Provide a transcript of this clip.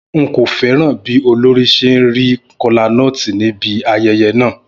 N kò fẹ́ràn bí olórí ṣe ń ṣe kola nut níbi ayẹyẹ náà.